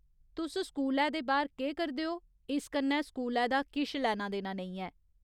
तुस स्कूलै दे बाह्‌र केह् करदे ओ, इस कन्नै स्कूलै दा किश लैना देना नेईं ऐ।